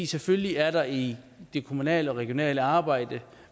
selvfølgelig er der i det kommunale og regionale arbejde